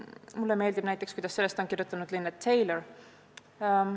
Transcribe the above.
Mulle meeldib, kuidas sellest on kirjutanud Linnet Taylor.